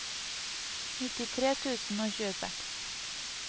nittitre tusen og tjueseks